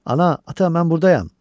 Ana, ata, mən buradayam!